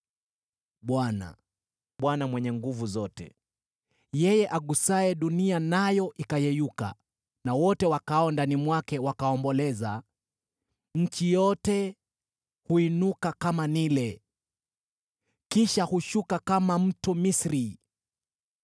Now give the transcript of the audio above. Bwana, Bwana Mwenye Nguvu Zote, yeye agusaye dunia nayo ikayeyuka, na wote wakaao ndani mwake wakaomboleza: nayo nchi yote huinuka kama Naili, kisha hushuka kama mto wa Misri;